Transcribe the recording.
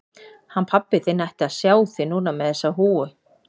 Hann pabbi þinn ætti að sjá þig núna með þessa húfu.